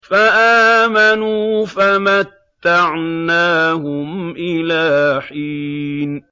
فَآمَنُوا فَمَتَّعْنَاهُمْ إِلَىٰ حِينٍ